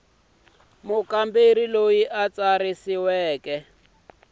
mukamberi loyi a tsarisiweke a